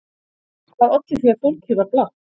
Hvað olli því að fólkið var blátt?